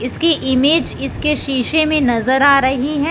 इसकी इमेज इसके शीशे में नजर आ रही है।